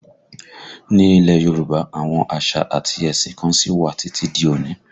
Ni ilẹ̀ Yorùbá, àwọn àṣà àti ẹ̀sìn kan sí wà títí di òní